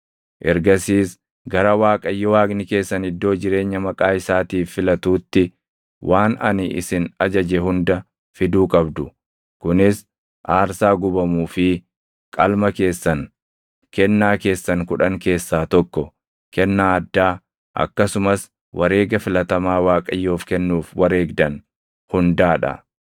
Ergasiis gara Waaqayyo Waaqni keessan iddoo jireenya Maqaa isaatiif filatuutti waan ani isin ajaje hunda fiduu qabdu; kunis aarsaa gubamuu fi qalma keessan, kennaa keessan kudhan keessaa tokko, kennaa addaa, akkasumas wareega filatamaa Waaqayyoof kennuuf wareegdan hundaa dha.